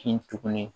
Kin tuguni